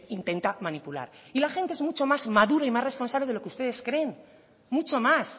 intenta manipular y la gente es mucho más madura y más responsable de lo que ustedes creen mucho más